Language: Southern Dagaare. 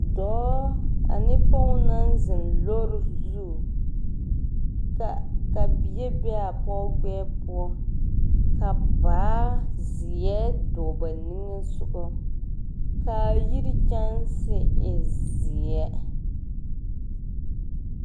Dɔɔ ane pɔŋe naŋ ziŋ lɔroo zu ka ka bie be a pɔŋe gbɛɛ poɔ kaa baa zeɛ doge ba niŋɛ soŋo ka yiri kyeŋse e zeɛ.